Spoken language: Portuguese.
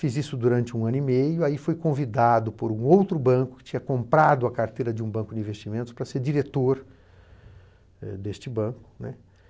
Fiz isso durante um ano e meio, aí foi convidado por um outro banco que tinha comprado a carteira de um banco de investimentos para ser diretor deste banco, né.